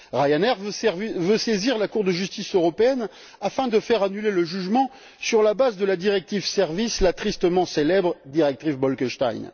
Ryanair veut saisir la Cour de justice européenne afin de faire annuler le jugement sur la base de la directive sur les services, la tristement célèbre directive Bolkestein.